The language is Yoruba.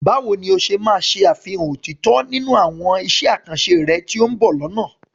Báwo ni o ṣe máa ṣe àfihàn òtítọ́ nínú àwọn iṣẹ́ àkànṣe rẹ tí ó ń bọ̀ lọ́nà?